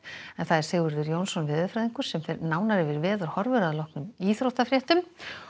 Sigurður Jónsson veðurfræðingur fer nánar yfir veðurhorfur að loknum íþróttafréttum